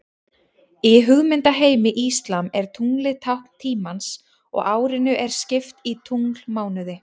Í hugmyndaheimi íslam er tunglið tákn tímans og árinu er skipt í tunglmánuði.